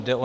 Jde o